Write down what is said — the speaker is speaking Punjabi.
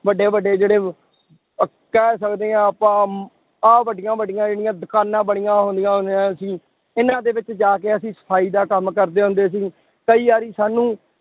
ਵੱਡੇ ਵੱਡੇ ਜਿਹੜੇ ਅਹ ਕਹਿ ਸਕਦੇ ਹਾਂ ਆਪਾਂ ਆਹ ਵੱਡੀਆਂ ਵੱਡੀਆਂ ਜਿਹੜੀਆਂ ਦੁਕਾਨਾਂ ਬਣੀਆਂ ਹੁੰਦੀਆਂ ਹੁੰਦੀਆਂ ਸੀ ਇਹਨਾਂ ਦੇ ਵਿੱਚ ਜਾ ਕੇ ਅਸੀਂ ਸਫ਼ਾਈ ਦਾ ਕੰਮ ਕਰਦੇ ਹੁੰਦੇ ਸੀ, ਕਈ ਵਾਰੀ ਸਾਨੂੰ